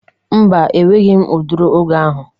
Mba, enweghi m ụdịri oge ahụ